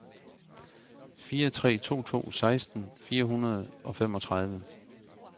fire tre to to seksten fire hundrede og femogtredive